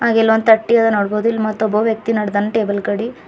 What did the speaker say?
ಹಾಗೆ ಇಲ್ ಒಂದ್ ತಟ್ಟಿ ಅದ ನೋಡ್ಬೋದು ಮತ್ತ ಒಬ್ಬ ವ್ಯಕ್ತಿ ನಡದಾನ್ ಟೇಬಲ್ ಕಡಿ.